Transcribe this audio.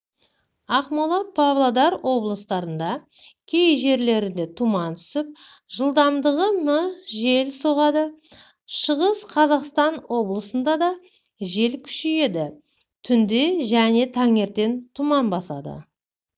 ақмола павлодар облыстарында кей жерлерде тұман түсіп жылдамдығы мі жел соғады шығыс қазақстан облысында дажел күшейеді түнде және таңертең тұман басады